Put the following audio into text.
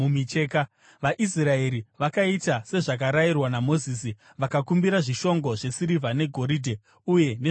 VaIsraeri vakaita sezvavakarayirwa naMozisi vakakumbira zvishongo zvesirivha, negoridhe uye nezvokupfeka.